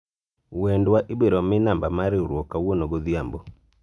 wendwa ibiro mii namba mar riwruok kawuono godhiambo